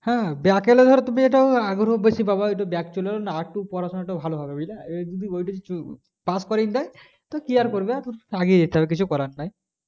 হ্যাঁ হ্যাঁ back এলে ধর তুমি এটা আগের উদ্দেশ্যে যাবে একটু back চলে এলো না আরেকটু পড়াশোনা টা ভালো হবে বুঝলে এটাই এটাই উচিত,